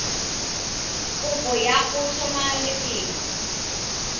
kopo ya go tlhoma lefelo